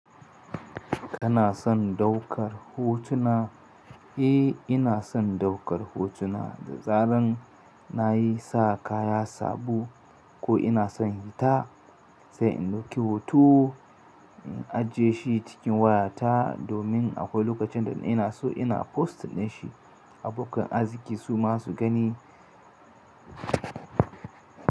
Kana son ɗaukar hotuna? Eh, ina son ɗaukar hotuna da zarar na yi sa kaya sabo ko ina son hita sai in ɗauki hoto in ajiye shi cikin wayata domin akwai lokacin da ina so ina postar da shi a bukkar aski su masu gani.